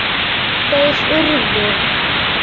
Þeir urðu!